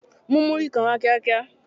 Mú múrí kan wá kíá kíá!